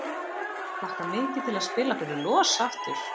Hlakka mikið til að spila fyrir LOS aftur!